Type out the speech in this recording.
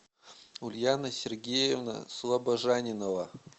ульяна сергеевна слобожанинова